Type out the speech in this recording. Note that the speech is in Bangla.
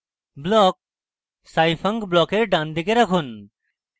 block scifunc ব্লকের ডানদিকে রাখুন